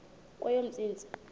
kweyomntsintsi